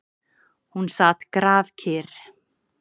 Hún sat grafkyrr.